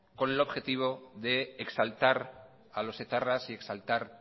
con el objetivo de exaltar a los etarras y exaltar